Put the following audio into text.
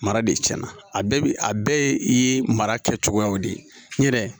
Mara de cɛn na a bɛɛ bi a bɛɛ ye i mara kɛcogoyaw de ye n yɛrɛ